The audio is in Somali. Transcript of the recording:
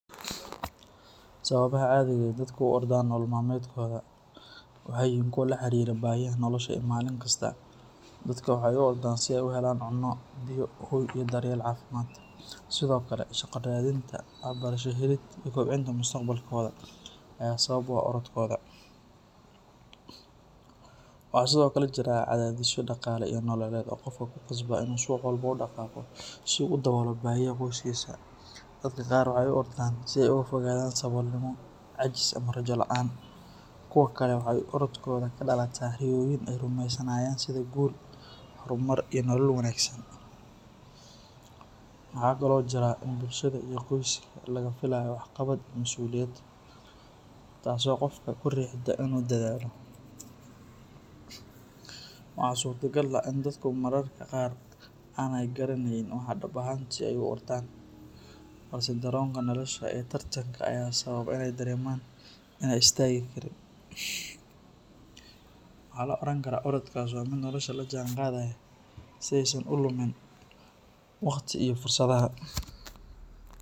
Sababaha caadiga ah ee dadka u ordaan nolol maalmeedkooda waxay yihiin kuwo la xiriira baahiyaha nolosha ee maalin kasta ah. Dadka waxay u ordaan si ay u helaan cunno, biyo, hoy, iyo daryeel caafimaad. Sidoo kale, shaqo raadinta, waxbarasho helid, iyo kobcinta mustaqbalkooda ayaa sabab u ah orodkooda. Waxaa sidoo kale jira cadaadisyo dhaqaale iyo nololeed oo qofka ku qasba inuu subax walba u dhaqaaqo si uu u daboolo baahiyaha qoyskiisa. Dadka qaar waxay u ordaan si ay uga fogaadaan saboolnimo, caajis, ama rajo la’aan. Kuwo kale waxay orodkooda ka dhalataa riyooyin ay rumaysanayaan sida guul, horumar, iyo nolol wanaagsan. Waxaa kaloo jira in bulshada iyo qoyska laga filayo waxqabad iyo masuuliyad, taasoo qofka ku riixda inuu dadaalo. Waxaa suurtagal ah in dadku mararka qaar aanay garanayn waxa dhab ahaantii ay u ordayaan, balse dareenka nolosha ee tartanka leh ayaa sababa inay dareemaan in aanay istaagi karin. Waxaa la oran karaa orodkaas waa mid nolosha la jaanqaadaya si aysan u lumin waqtiga iyo fursadaha.